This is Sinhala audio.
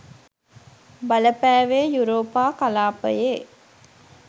බලපෑවේ යුරෝපා කලාපයේ